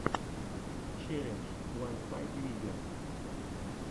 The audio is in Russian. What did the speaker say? челлендж уансайдмидиа